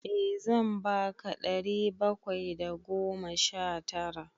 Eh zan ba ka ɗari bakwai da goma sha tara.